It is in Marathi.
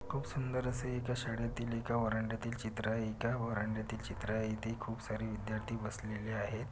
खूप सुंदर असे एका शाळेतील एका व्हरांड्यातील चित्र आहे त्या व्हरांड्यातील चित्र आहे इथे खूप सारे विद्यार्थी बसलेले आहे.